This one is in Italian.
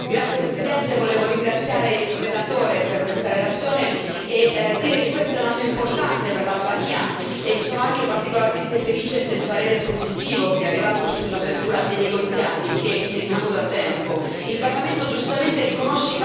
Signora Presidente, onorevoli colleghi, volevo ringraziare il relatore per questa relazione e dire che questo è un anno importante per l'Albania. Sono anche particolarmente felice del parere positivo che è arrivato sull'apertura dei negoziati, che chiediamo da tempo.